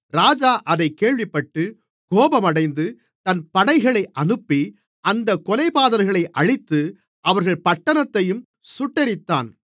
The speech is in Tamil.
ராஜா அதைக் கேள்விப்பட்டு கோபமடைந்து தன் படைகளை அனுப்பி அந்தக் கொலைபாதகர்களை அழித்து அவர்கள் பட்டணத்தையும் சுட்டெரித்தான்